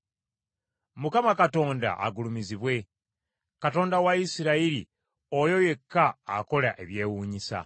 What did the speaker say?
Mukama Katonda agulumizibwe, Katonda wa Isirayiri, oyo yekka akola ebyewuunyisa.